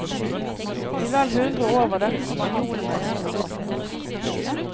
I vel hundre år var dette spanjolenes hovedsete.